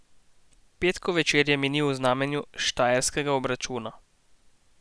Petkov večer je minil v znamenju štajerskega obračuna.